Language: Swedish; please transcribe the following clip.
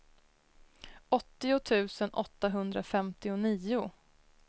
åttio tusen åttahundrafemtionio